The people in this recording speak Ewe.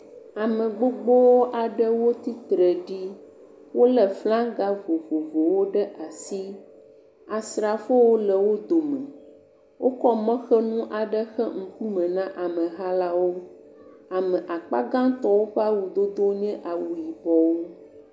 Ame gbogbo aɖewo tsitre ɖi. Wolé flaga vovovowo ɖe asi, asrafowo le wo dome, wokɔ mɔxenu aɖe xe ŋkume na ameha la wo. Ame akpa gãtɔ ƒe awudodo nye awu yibɔwo.